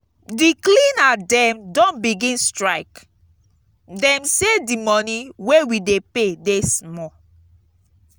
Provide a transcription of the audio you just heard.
di cleaner dem don begin strike. dem sey di money wey we dey pay dey small.